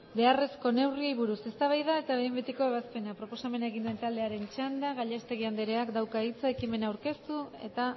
beharrezko neurriei buruz eztabaida eta behin betiko ebazpena proposamena egin duen taldearen txanda gallastegui andreak dauka hitza ekimen aurkeztu eta